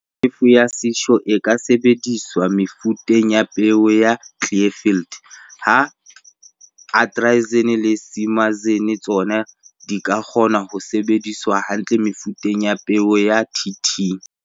Tjhefo ya Cysure e ka sebediswa mefuteng ya peo ya Clearfield, ha atrazine le simazine tsona di kgona ho sebetsa hantle mefuteng ya peo ya TT.